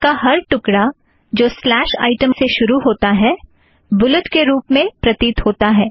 पाठ का हर टुकड़ा जो स्लेश आइटम से शुरू होता है बुलेट के रूप में प्रतीत होता है